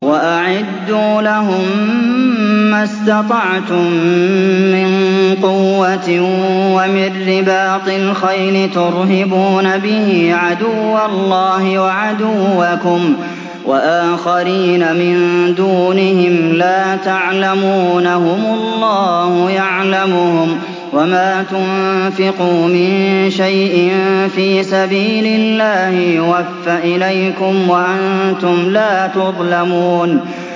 وَأَعِدُّوا لَهُم مَّا اسْتَطَعْتُم مِّن قُوَّةٍ وَمِن رِّبَاطِ الْخَيْلِ تُرْهِبُونَ بِهِ عَدُوَّ اللَّهِ وَعَدُوَّكُمْ وَآخَرِينَ مِن دُونِهِمْ لَا تَعْلَمُونَهُمُ اللَّهُ يَعْلَمُهُمْ ۚ وَمَا تُنفِقُوا مِن شَيْءٍ فِي سَبِيلِ اللَّهِ يُوَفَّ إِلَيْكُمْ وَأَنتُمْ لَا تُظْلَمُونَ